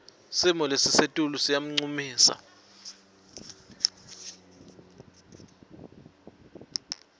simo selitulu siyancumisa